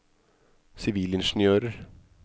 sivilingeniører